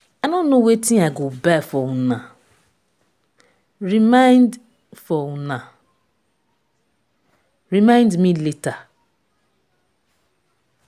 i no know wetin i go buy for una. remind for una. remind me later.